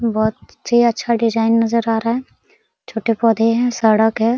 बहोत ही अच्छा डिजाइन नजर आ रहा है छोटे पौधे हैं सड़क है।